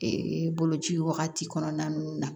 boloci wagati kɔnɔna ninnu na